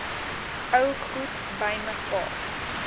ou goed bymekaar